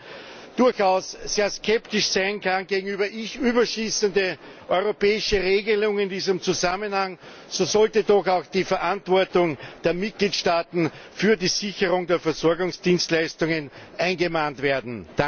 Und obwohl man durchaus sehr skeptisch sein kann gegenüber überschießenden europäischen Regelungen in diesem Zusammenhang, so sollte doch auch die Verantwortung der Mitgliedstaaten für die Sicherung der Versorgungsdienstleistungen angemahnt werden.